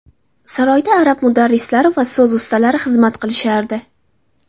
Saroyda arab mudarrislari va so‘z ustalari xizmat qilishardi.